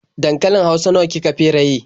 Dankalin hausa nawa ki ka feraye?